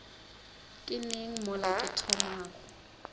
ke neng mola ke thomago